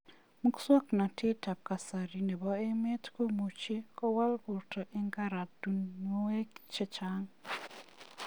Musoknatet ab kasari nebo emet komuchi kowal borto eng karatunuek che chang.